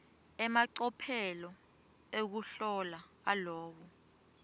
emacophelo ekuhlola alowo